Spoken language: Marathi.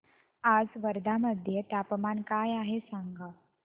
आज वर्धा मध्ये तापमान काय आहे सांगा